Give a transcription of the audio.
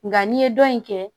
Nga n'i ye dɔ in kɛ